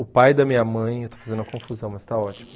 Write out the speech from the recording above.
O pai da minha mãe... Eu estou fazendo uma confusão, mas está ótimo.